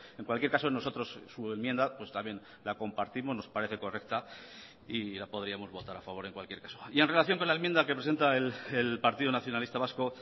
en cualquier caso nosotros su enmienda pues también la compartimos nos parece correcta y la podríamos votar a favor en cualquier caso y en relación con la enmienda que presenta el partido nacionalista vasco